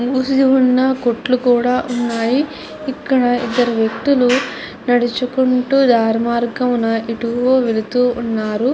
మూసి ఉన్న కోట్లు కూడా ఉన్నాయి. ఇక్కడ ఇద్దరు వ్యక్తులు నడుచుకుంటూ దారి మార్గాన్ని ఎటో వెళుతు ఉన్నారు.